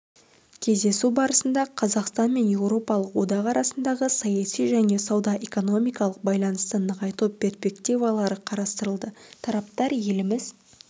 кездесу барысында қазақстан мен еуропалық одақ арасындағы саяси және сауда-экономикалық байланысты нығайту перспективалары қарастырылды тараптар еліміз